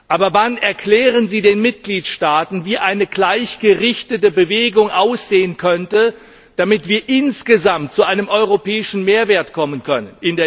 Aber wann erklären Sie den Mitgliedstaaten, wie eine gleichgerichtete Bewegung aussehen könnte, damit wir insgesamt in der Investitionstätigkeit zu einem europäischen Mehrwert kommen können?